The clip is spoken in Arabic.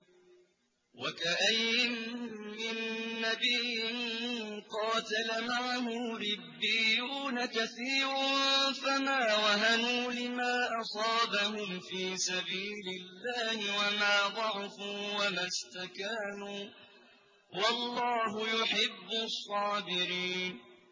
وَكَأَيِّن مِّن نَّبِيٍّ قَاتَلَ مَعَهُ رِبِّيُّونَ كَثِيرٌ فَمَا وَهَنُوا لِمَا أَصَابَهُمْ فِي سَبِيلِ اللَّهِ وَمَا ضَعُفُوا وَمَا اسْتَكَانُوا ۗ وَاللَّهُ يُحِبُّ الصَّابِرِينَ